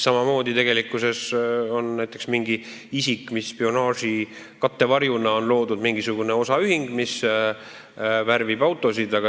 Samamoodi võib mingi isik spionaaži kattevarjuks luua näiteks osaühingu, mis värvib autosid.